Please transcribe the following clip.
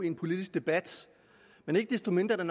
en politisk debat men ikke desto mindre er